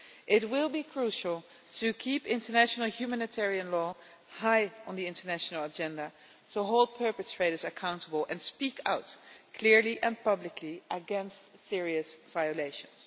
It will be crucial to keep international humanitarian law high on the international agenda, to hold perpetrators accountable and speak out clearly and publicly against serious violations.